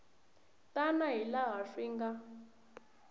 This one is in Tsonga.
tani hi laha swi nga